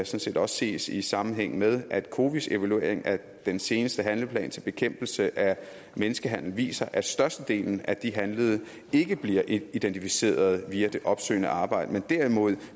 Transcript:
set også ses i sammenhæng med at cowis evaluering af den seneste handlingsplan til bekæmpelse af menneskehandel viser at størstedelen af de handlede ikke bliver identificeret via det opsøgende arbejde men derimod